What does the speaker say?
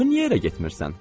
Axı niyə evə getmirsən?